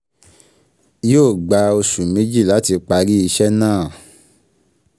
Yí ó gba oṣù méjì láti parí ìṣe náà